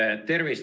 Tervist!